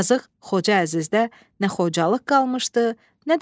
Yazıq Xoca Əzizdə nə xocalıq qalmışdı, nə də əzizlik.